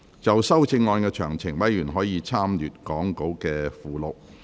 就修正案詳情，委員可參閱講稿附錄。